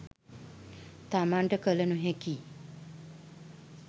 තමන්ට කළ නොහැකි